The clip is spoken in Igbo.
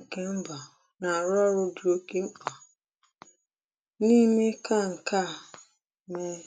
ǹkè mbà nà-àrụ ọ́rụ́ dị oké mkpà n’ ime kà ǹkè a mèe.